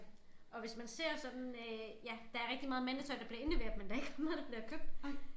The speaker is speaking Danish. Og hvis man ser sådan øh ja der rigtig meget mandetøj der bliver indleveret men der ikke meget der bliver købt